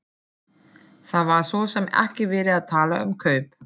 Það var svo sem ekki verið að tala um kaup.